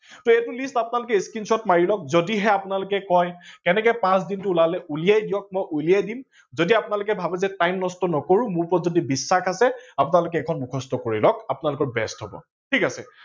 সেইবুলি আপোলোকে screenshot মাৰি লওক যদিহে আপোনালোকে কয় কেনেকে পাচ দিনটো উলালে উলিয়াই দিয়ক মই উলিয়াই দিম। যদি আপোনালোকে ভাবে যে time নষ্ট নকৰো, মোৰ ওপৰত যদি বিশ্বাস আছে আপোনালোকে এইখন মোখস্ত কৰি লওক আপোনালোকৰ best হব ঠিক আছে।